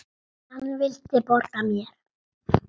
Brjóst mín.